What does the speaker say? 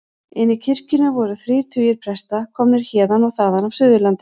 Inni í kirkjunni voru þrír tugir presta, komnir héðan og þaðan af Suðurlandi.